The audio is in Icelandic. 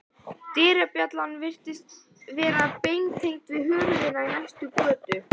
Dyrabjallan virðist vera beintengd við hundinn í næstu götu.